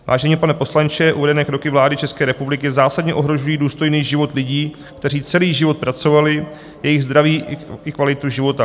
Vážený pane poslanče, uvedené kroky vlády České republiky zásadně ohrožují důstojný život lidí, kteří celý život pracovali, jejich zdraví i kvalitu života.